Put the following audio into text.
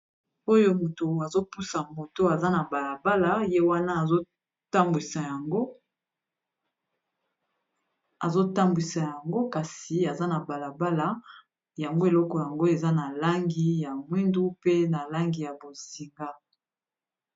Oyo motu azopusa moto aza na balabala ye wana azotambwisa yango kasi aza na balabala yango eloko yango eza na langi ya mwindu pe na langi ya bozinga